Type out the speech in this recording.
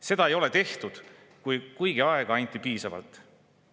Seda ei ole juhtunud, kuigi aega anti piisavalt.